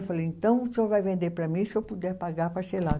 Eu falei, então o senhor vai vender para mim, se eu puder pagar parcelado.